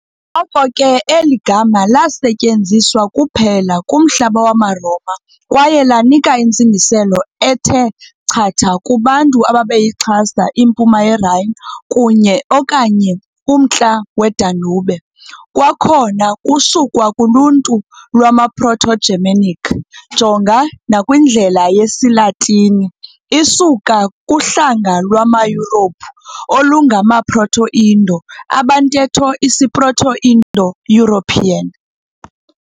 Ngoko ke eli gama lasetyenziswa kuphela kumhlaba wamaRoma kwaye lanika intsingiselo ethe chatha kubantu ababeyixhasa impuma yeRhine kunye, okanye umntla weDanube. Kwakhona kusukwa kuluntu lwama-Proto-Germanic, jonga nakwindlela yesiLatini, isuka kuhlanga lwamaYurophu olungama-Proto-Indo, abantetho isisiProto-Indo-European.